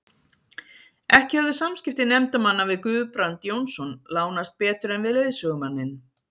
Ekki höfðu samskipti nefndarmanna við Guðbrand Jónsson lánast betur en við leiðsögumanninn.